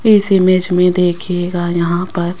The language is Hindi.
इस इमेज में देखिएगा यहां पर--